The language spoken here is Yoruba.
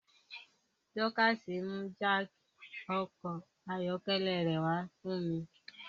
Dorcas mú jáákí ọkọ̀ ayọ́kẹ́lẹ́ rẹ̀ wá fún mi